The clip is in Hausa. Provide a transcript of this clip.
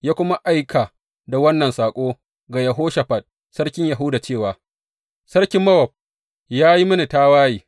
Ya kuma aika da wannan saƙo ga Yehoshafat sarkin Yahuda cewa, Sarkin Mowab ya yi mini tawaye.